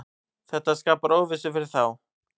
Þetta skapar óvissu fyrir þá.